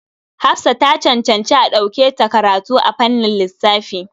Hafsa ta cancanci a ɗauke ta karatu a fannin lissafi.